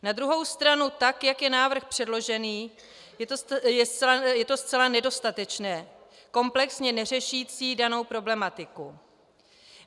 Na druhou stranu, tak jak je návrh předložený, je to zcela nedostatečné, komplexně neřešící danou problematiku.